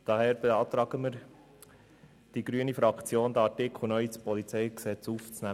Deswegen beantragt die Fraktion der Grünen, den Artikel neu ins PolG aufzunehmen.